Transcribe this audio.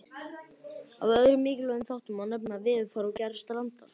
Af öðrum mikilvægum þáttum má nefna veðurfar og gerð strandar.